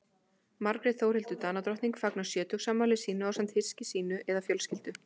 Margrét Þórhildur Danadrottning fagnar sjötugsafmæli sínu ásamt hyski sínu eða fjölskyldu.